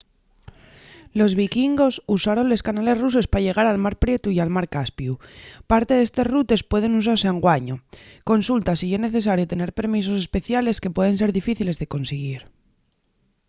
los vikingos usaron les canales ruses pa llegar al mar prietu y al mar caspiu parte d'estes rutes pueden usase anguaño consulta si ye necesario tener permisos especiales que pueden ser dificiles de consiguir